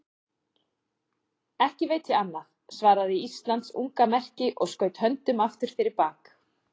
Ekki veit ég annað, svaraði Íslands unga merki og skaut höndum aftur fyrir bak.